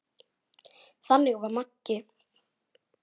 Þannig var Maggi.